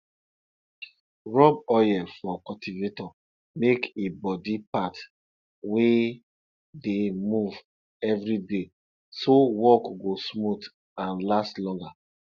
rub oil for cultivator make e body parts wey dey move everyday so work go smooth and last longer